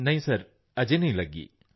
ਨਹੀਂ ਸਰ ਅਜੇ ਨਹੀਂ ਲੱਗੀ